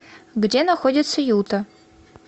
где находится юта